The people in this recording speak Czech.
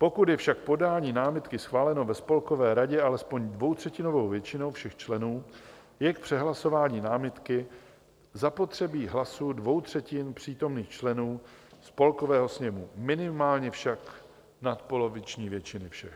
Pokud je však podání námitky schváleno ve Spolkové radě alespoň dvoutřetinovou většinou všech členů, je k přehlasování námitky zapotřebí hlasů dvou třetin přítomných členů Spolkového sněmu, minimálně však nadpoloviční většiny všech.